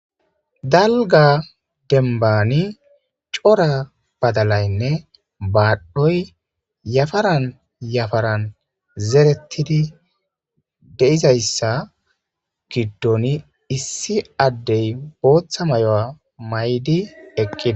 Daliga demibbani cora badalanne badhdhoyi yafarani yafarani zeretidi deizayisa giddoni issi addey botha mayuwa mayidi eqideesi